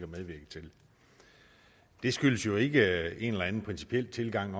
medvirke til det skyldes jo ikke en eller anden principiel tilgang